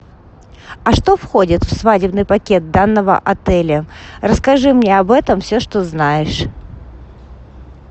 а что входит в свадебный пакет данного отеля расскажи мне об этом все что знаешь